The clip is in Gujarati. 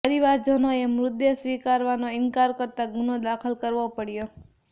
પરિવારજનોએ મૃતદેહ સ્વીકારવાનો ઇનકાર કરતા ગુનો દાખલ કરવો પડયો